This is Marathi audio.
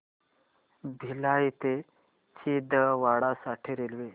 भिलाई ते छिंदवाडा साठी रेल्वे